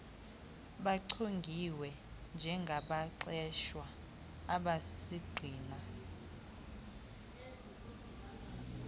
bechongiwe njengabaqeshwa abasisigxina